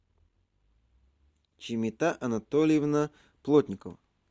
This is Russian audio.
чимита анатольевна плотникова